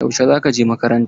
Yaushe za ka je makaranta?